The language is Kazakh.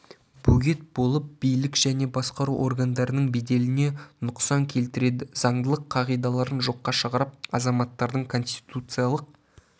бөгет болып билік және басқару органдарының беделіне нұқсан келтіреді заңдылық қағидаларын жоққа шығарып азаматтардың конституциялық